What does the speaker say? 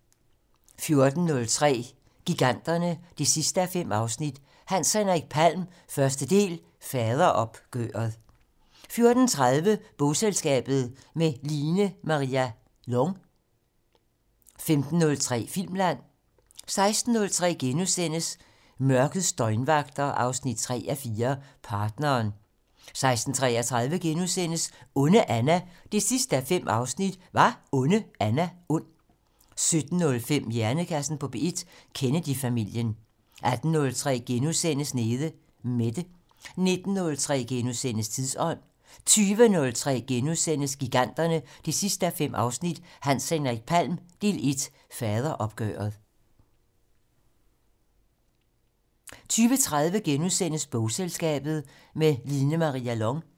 14:03: Giganterne 5:5 - Hans Henrik Palm - Del 1: Faderopgøret 14:30: Bogselskabet - med Line-Maria Lång 15:03: Filmland 16:03: Mørkets døgnvagter 3:4 - Partneren * 16:33: Onde Anna 5:5 - Var Onde Anna ond? * 17:05: Hjernekassen på P1: Kennedy-familien 18:03: Nede Mette * 19:03: Tidsånd * 20:03: Giganterne 5:5 - Hans Henrik Palm - Del 1: Faderopgøret * 20:30: Bogselskabet - med Line-Maria Lång *